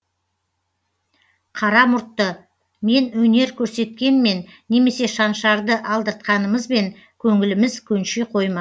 қара мұртты мен өнер көрсеткенмен немесе шаншарды алдыртқанымызбен көңіліміз көнши қойма